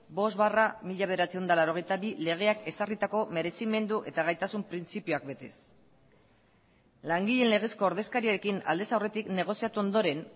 bost barra mila bederatziehun eta laurogeita bi legeak ezarritako merezimendu eta gaitasun printzipioak betez langileen legezko ordezkariekin aldez aurretik negoziatu ondoren